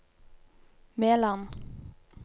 Meland